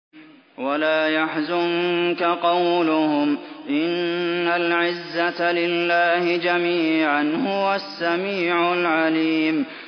وَلَا يَحْزُنكَ قَوْلُهُمْ ۘ إِنَّ الْعِزَّةَ لِلَّهِ جَمِيعًا ۚ هُوَ السَّمِيعُ الْعَلِيمُ